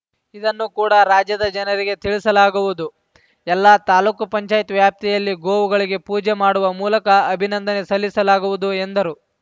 ಇದನ್ನುಕೂಡ ರಾಜ್ಯದ ಜನರಿಗೆ ತಿಳಿಸಲಾಗುವುದು ಎಲ್ಲ ತಾಲ್ಲುಕುಪಂಚಾಯತ್ವ್ಯಾಪ್ತಿಯಲ್ಲಿ ಗೋವುಗಳಿಗೆ ಪೂಜೆ ಮಾಡುವ ಮೂಲಕ ಅಭಿನಂದನೆ ಸಲ್ಲಿಸಲಾಗುವುದು ಎಂದರು